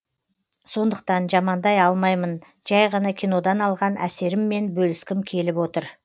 сондықтан жамандай алмаймын жәй ғана кинодан алған әсеріммен бөліскім келіп отыр